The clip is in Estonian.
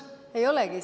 Ei olegi.